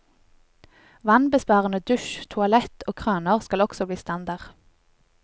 Vannbesparende dusj, toalett og kraner skal også bli standard.